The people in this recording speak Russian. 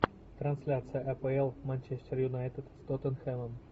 трансляция апл манчестер юнайтед с тоттенхэмом